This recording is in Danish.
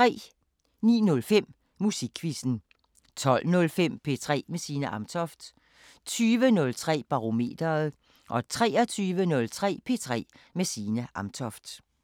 09:05: Musikquizzen 12:05: P3 med Signe Amtoft 20:03: Barometeret 23:03: P3 med Signe Amtoft